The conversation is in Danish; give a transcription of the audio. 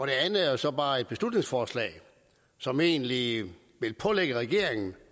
det andet er jo så bare et beslutningsforslag som egentlig vil pålægge regeringen